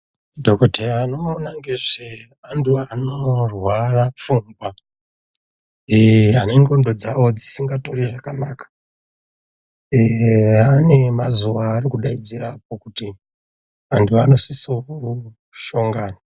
Dhokodheya anoona ngezveantu anorware pfungwa ane ndxondo dzawo dzisingatori zvakanaka vane mazuva varikudaidzira kuti antu anosisa kuhlongana.